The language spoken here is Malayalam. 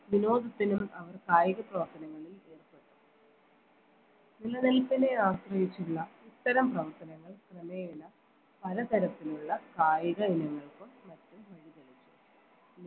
വിനോദത്തിനും അവർ കായിക പ്രവർത്തനങ്ങൾ നിലനിൽപ്പിനെ ആശ്രയിച്ചുള്ള ഇത്തരം പ്രവർത്തനങ്ങൾ ക്രമേണ പലതരത്തിലുള്ള കായിക വിനോദങ്ങൾ മറ്റും